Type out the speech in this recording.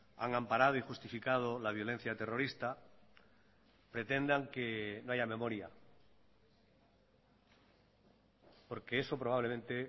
han amparado y justificado la violencia terrorista pretendan que no haya memoria porque eso probablemente